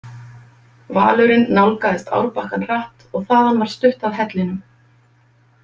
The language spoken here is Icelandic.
Valurinn nálgaðist árbakkann hratt og þaðan var stutt að hellinum.